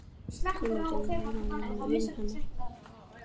Hvernig getur Hera verið með augun hennar?